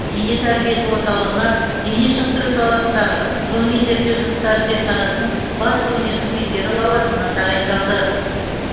дене тәрбиесі орталығына дене шынықтыру саласындағы ғылыми зерттеу жұмыстары зертханасының бас ғылыми қызметкері лауазымына тағайындалды